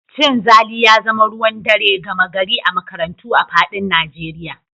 Cin zali ya zama ruwan dare gama gari a makarantu a faɗin Najeriya